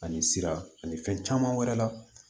Ani sira ani fɛn caman wɛrɛ la